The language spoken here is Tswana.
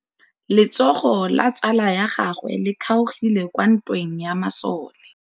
Letsôgô la tsala ya gagwe le kgaogile kwa ntweng ya masole.